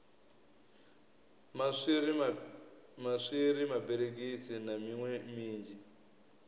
maswiri maberegisi na miṋwe minzhi